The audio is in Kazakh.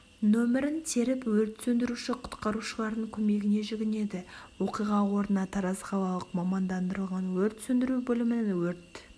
нөмірін теріп өрт сөндіруші-құтқарушылардың көмегіне жүгінеді оқиға орнына тараз қалалық мамандандырылған өрт сөндіру бөлімінің өрт